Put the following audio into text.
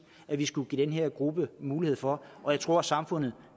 at vi skulle give den her gruppe mulighed for jeg tror at samfundet